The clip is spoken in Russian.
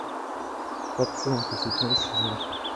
пациенты седьмой сезон